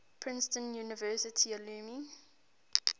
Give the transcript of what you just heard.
princeton university alumni